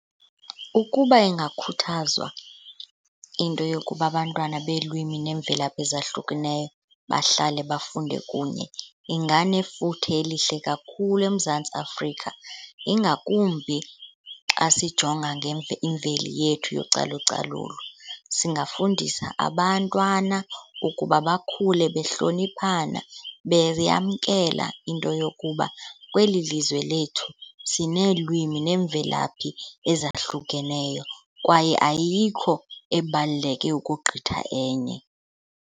Ukuba ingakhuthazwa into yokuba abantwana beelwimini neemvelaphi ezahlukeneyo bahlale bafunde kunye inganefuthe elihle kakhulu eMzantsi Afrika, ingakumbi xa sijonga imveli yethu yocalucalulo. Singafundisa abantwana ukuba bakhule behloniphana, beyamkela into yokuba kweli lizwe lethu sineelwimi neemvelaphi ezahlukeneyo kwaye ayikho ebaluleke ukogqitha enye.